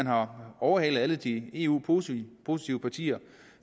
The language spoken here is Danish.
har overhalet alle de eu positive positive partier